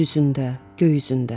Yer üzündə, göy üzündə.